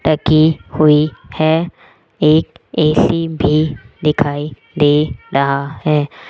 हुई है एक ए_सी भी दिखाई दे रहा है।